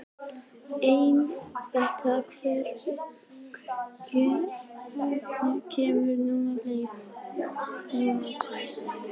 Anita, hvenær kemur leið númer tvö?